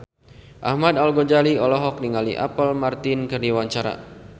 Ahmad Al-Ghazali olohok ningali Apple Martin keur diwawancara